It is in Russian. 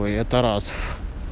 а это раз